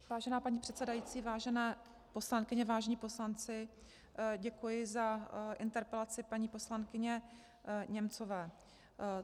Vážená paní předsedající, vážené poslankyně, vážení poslanci, děkuji za interpelaci paní poslankyně Němcové.